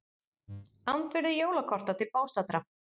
Andvirði jólakorta til bágstaddra